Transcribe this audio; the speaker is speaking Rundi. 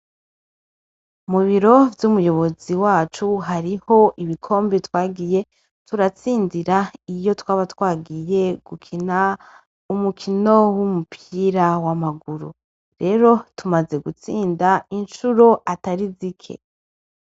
Mubiro vy'umuyobozi wacu hariho ibikombi twagiye turatsinzira iyo twaba twagiye gukina umukino w'umupira w'amaguru rero tumaze gutsinda incuro atari zike.